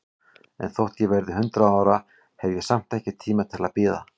En þótt ég verði hundrað ára, hef ég samt ekki tíma til að bíða.